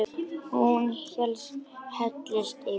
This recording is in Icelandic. Hún bara hellist yfir.